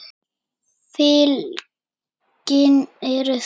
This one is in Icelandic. Fylkin eru þessi